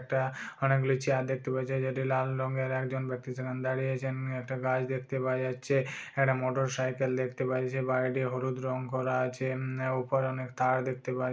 একটা অনেকগুলি চেয়ার দেখতে পাওয়া যাচ্ছে যেটি লাল রঙের একজন ব্যক্তি সেখান দাঁড়িয়ে আছেন উম একটা গাছ দেখতে পাওয়া যাচ্ছে একটা মোটরসাইকেল দেখতে পাওয়া যাচ্ছে বাড়িটি হলুদ রং করা আছে। উম উপর অনেক তার দেখতে পাই --